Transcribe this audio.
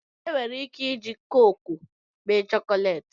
enwere ike iji koko mee chọkọleti